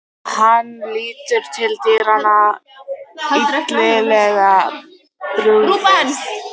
Hann lítur til dyranna, illilega brugðið.